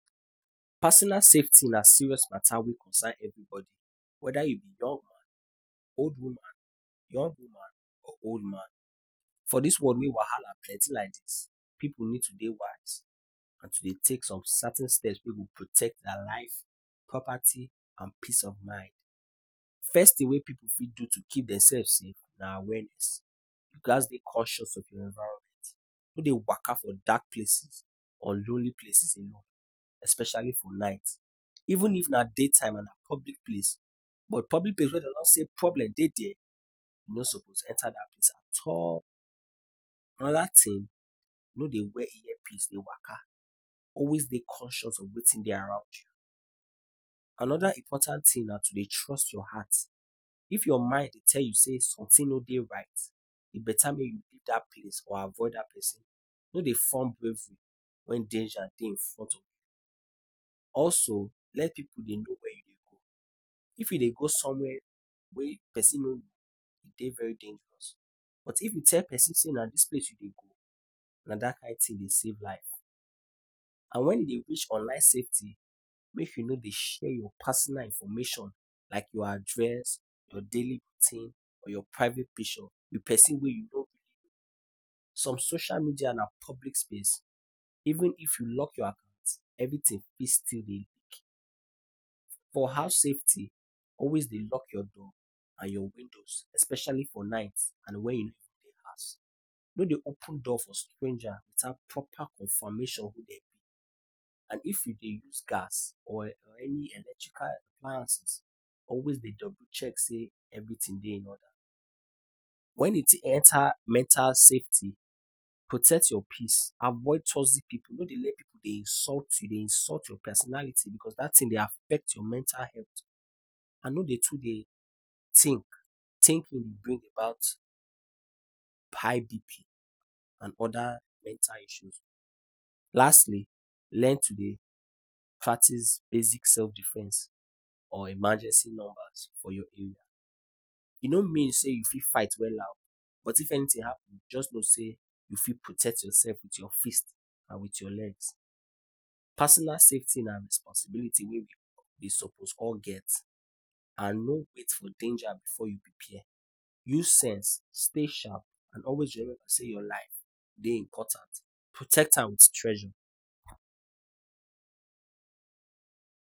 Personal safety na serious matter wey concern everybody. Whether you be young man, old woman, young woman or old man. For dis world wey wahala plenty like dis, pipu need to dey wise and to dey take some certain steps wey go protect their lives, property and peace of mind. First thing wey pipu fit do to keep dem selves safe na awareness. You gats dey conscious of your environment. No dey waka for dark places or lonely places especially for night. Even if na daytime and na public places, but public places wey dey don say problem dey there, you no suppose enter dat place at all. Another thing, no dey wear earpiece dey waka. Always dey conscious of wetin dey around you. Another important thing na to dey trust your heart. If your mind dey tell you say something no dey right, e better make you leave dat place or avoid dat pesin. No dey form brave when danger dey in front of you. Also, let pipu dey know where you dey go. If you dey go somewhere wey pesin no know, e dey very dangerous. But if you tell pesin say na dis place you dey go, na dat kin thing dey save life. And when you dey wish for life safety, make you no dey share your personal information like your address, your daily routine or your private picture with pesin wey you no really know. Social media na public space — even if you lock your account, everything still fit dey public. For house safety, always dey lock your door and your windows especially for night and when you no dey house. No dey open door for strangers without proper confirmation of who dem be. And if you dey use gas or any electrical appliances, always dey double check say everything dey in order. When e enter mental safety, protect your peace. Avoid toxic pipu. No dey let pipu dey insult you, dey insult your personality cause dat thing dey affect your mental health. And no dey too dey think. Overthinking dey bring about high BP and other mental issues. Lastly, learn to dey practice basic self-defense or emergency numbers for your area. E no mean say you fit fight wella, but anything happen, just know say you fit protect yourself with your fist and with your legs. Personal safety na responsibility wey we suppose all get. No wait for danger before you prepare. Use sense, stay sharp and always know say your life dey important. Protect am like treasure.